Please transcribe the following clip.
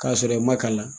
K'a sɔrɔ i ma kalan